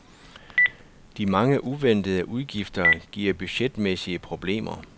De mange uventede udgifter giver budgetmæssige problemer.